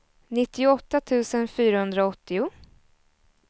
nittioåtta tusen fyrahundraåttio